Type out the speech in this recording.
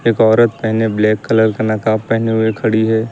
एक औरत पहने ब्लैक कलर का नकाब पहने हुए खड़ी है।